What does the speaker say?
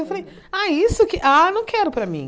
Eu falei, ah, isso que, ah, não quero para mim.